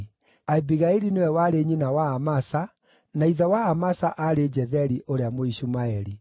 Abigaili nĩwe warĩ nyina wa Amasa, na ithe wa Amasa aarĩ Jetheri ũrĩa Mũishumaeli.